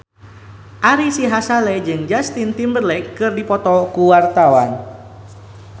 Ari Sihasale jeung Justin Timberlake keur dipoto ku wartawan